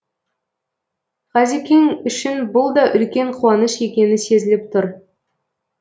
ғазикең үшін бұл да үлкен қуаныш екені сезіліп тұр